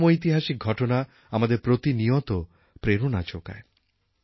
এরকম ঐতিহাসিক ঘটনা আমাদের প্রতিনিয়ত প্রেরণা যোগায়